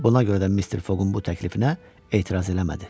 Buna görə də Mister Foqun bu təklifinə etiraz eləmədi.